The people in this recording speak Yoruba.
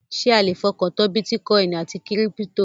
Ṣé a le fọkàn tán bítíkọìnì àti kírípítò?